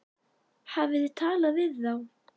Hafið þið talað við þá?